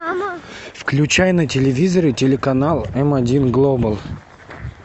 включай на телевизоре телеканал м один глобал